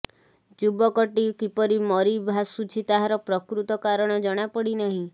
ଯୁବକଟି କିପରି ମରି ଭାସୁଛି ତାହାର ପ୍ରକୃତ କାରଣ ଜଣାପଡିନାହିଁ